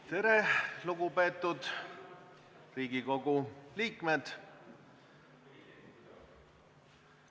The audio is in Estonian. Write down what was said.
Tere, lugupeetud Riigikogu liikmed!